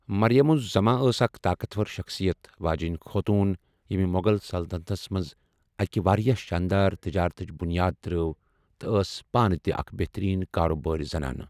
مریم الزماں ٲس اَکھ طاقت ور شخصیت واجیٚنۍ خوتون ییٚمہِ مغل سلطَنتس منٛز أکِہِ واریٖاہ شانٛدار تِجارتٕچ بُنیاد ترٛٲو تہٕ ٲس پانہٕ تہِ اَکھ بہتٔریٖن کاروبارِ زنان۔